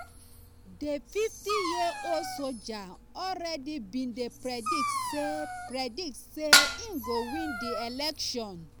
di 50-year-old soldier already bin dey predict say predict say im go win di election.